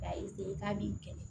K'a k'a b'i kɛlɛ